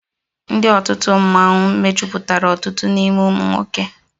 Ndị otu mmọnwụ mejupụtara ọtụtụ n'ime ụmụ nwoke